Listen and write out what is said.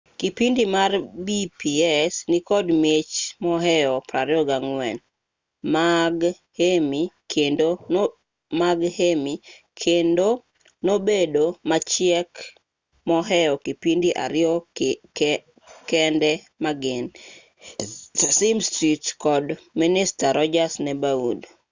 kipindi mar pbs nikod mich mohew 24 mag emmy kendo nobedo machiek mohew kipindi ariyo kende magin sesame street kod mister rodgers' neighborhood